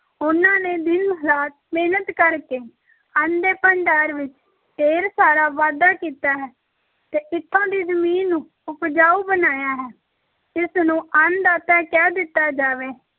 ਉਹਨਾਂ ਨੇ ਦਿਨ-ਰਾਤ ਮਿਹਨਤ ਕਰ ਕੇ ਅੰਨ ਦੇ ਭੰਡਾਰ ਵਿੱਚ ਢੇਰ ਸਾਰਾ ਵਾਧਾ ਕੀਤਾ ਹੈ ਤੇ ਇੱਥੋਂ ਦੀ ਜ਼ਮੀਨ ਨੂੰ ਉਪਜਾਊ ਬਣਾਇਆ ਹੈ, ਇਸ ਨੂੰ ਅੰਨ ਦਾਤਾ ਕਹਿ ਦਿੱਤਾ ਜਾਵੇ